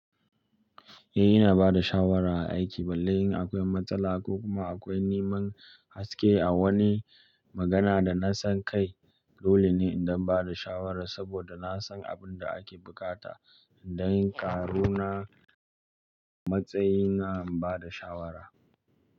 Eh, ina ba da shawara a aiki balle in akwai matsala ko kuma akwai neman haske a wani magana da na san kai, dole ne in da ba da shawara saboda na san abin da ake buƙata. Indai ƙaru na matsayina in ba da shawara.